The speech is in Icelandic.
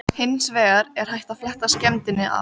Daginn eftir hvatti hún mig til að taka þessu boði.